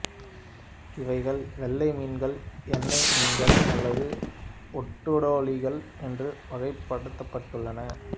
இவைகள் வெள்ளை மீன்கள் எண்ணெய் மீன்கள் அல்லது ஓட்டுடலிகள் என்று வகைப்படுத்தப்பட்டுள்ளன